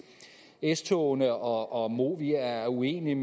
s togene og og movia er uenige